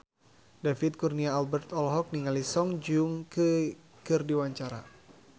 David Kurnia Albert olohok ningali Song Joong Ki keur diwawancara